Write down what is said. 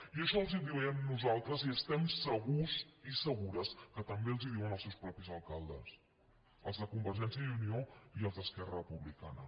i això els ho diem nosaltres i estem segurs i segures que també els ho diuen els seus mateixos alcaldes els de convergència i unió i els d’esquerra republicana